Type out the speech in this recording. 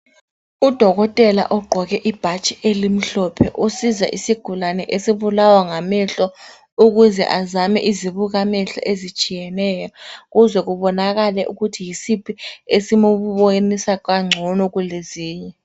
Udokotela ogqoke ibhatshi elimhlophe usiza isigulane esibulawa ngamehlo ukuze azame izibukamehlo ezitshiyeneyo kuze kubonakale ukuthi yisiphi esilokumbonisa ngcono kulezinye.